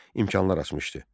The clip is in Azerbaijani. imkanlar açmışdı.